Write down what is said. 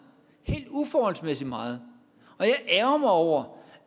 helt uforholdsmæssigt meget og jeg ærgrer mig over